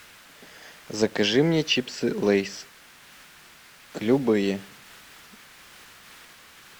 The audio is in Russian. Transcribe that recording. закажи мне чипсы лейс любые